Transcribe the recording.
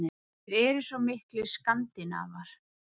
Þeir eru svo miklir Skandinavar.